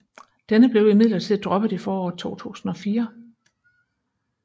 Denne blev imidlertid droppet i foråret 2004